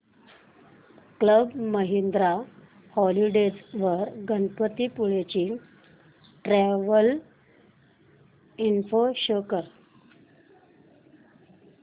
club Mahindra holidays वर गणपतीपुळे ची travel info show कर